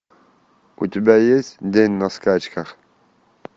у тебя есть день на скачках